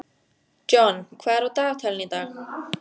John, hvað er á dagatalinu í dag?